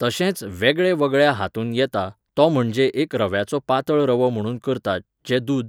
तशेंच वेगळेवेगळ्या हातूंत येता, तो म्हणजे एक रव्याचो पातळ रवो म्हुणून करतात, जें दूद